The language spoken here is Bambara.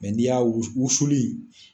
ni y'a wusu, wusuli